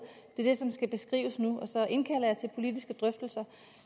det er det som skal beskrives nu og så indkalder jeg til politiske drøftelser